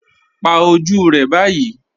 Pà ojú rẹ báyì